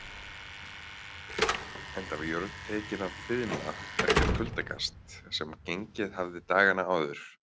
Enda var jörð tekin að þiðna eftir kuldakast, sem gengið hafði dagana áður.